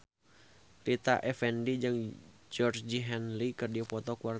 Rita Effendy jeung Georgie Henley keur dipoto ku wartawan